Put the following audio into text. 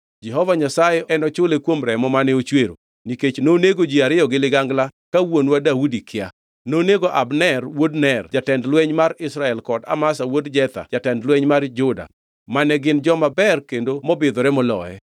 Jehova Nyasaye enochule kuom remo mane ochwero, nikech nonego ji ariyo gi ligangla ka wuonwa Daudi kia. Nonego Abner wuod Ner jatend lweny mar Israel kod Amasa wuod Jetha jatend lweny mar Juda mane gin joma ber kendo mobidhore moloye.